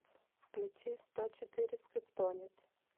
включи сто четыре скриптонит